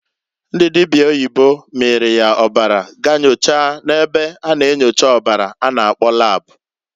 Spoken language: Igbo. Ndị dịbịa oyibo miiri ya ọbara gaa inyocha na-ebe a na-enyocha ọbara a na- akpọ lab.